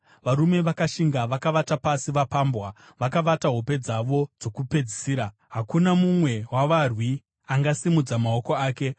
Varume vakashinga vakavata pasi vapambwa, vakavata hope dzavo dzokupedzisira; hakuna mumwe wavarwi angasimudza maoko ake.